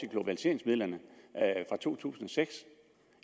globaliseringsmidlerne fra to tusind og seks